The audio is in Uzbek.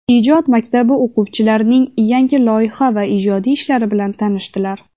ijod maktabi o‘quvchilarining yangi loyiha va ijodiy ishlari bilan tanishdilar.